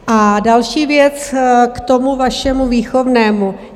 A další věc, k tomu vašemu výchovnému.